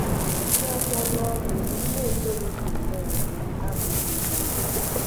Iji ọsọ lụọ di mgbe ị na - etorughị nnọọ etoru abụghị ebe o biri